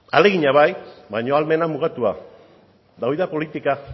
ahalegina bai baina ahalmena mugatua eta hori da politika